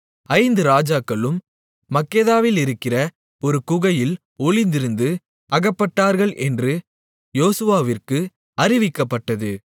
ஐந்து ராஜாக்களும் மக்கெதாவிலிருக்கிற ஒரு குகையில் ஒளிந்திருந்து அகப்பட்டார்கள் என்று யோசுவாவிற்கு அறிவிக்கப்பட்டது